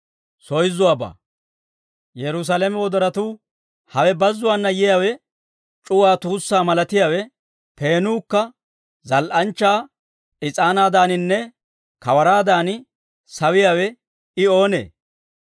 Hawe bazzuwaana yiyaawe, c'uwaa tuussaa malatiyaawe, peenuukka zal"anchchaa is'aanaadaaninne kawaraadan, sawiyaawe I oonee?